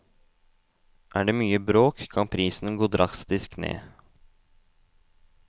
Er det mye bråk, kan prisen gå drastisk ned.